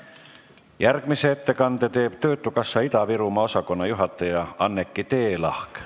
Järgmise ettekande teeb töötukassa Ida-Virumaa osakonna juhataja Anneki Teelahk.